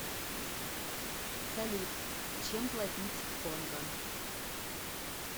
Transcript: салют чем платить в конго